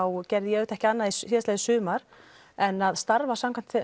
gerði ég ekki annað síðastliðið sumar en að starfa samkvæmt